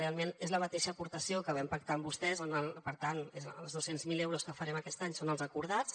realment és la mateixa aportació que vam pactar amb vostès per tant els dos cents miler euros que farem aquest any són els acordats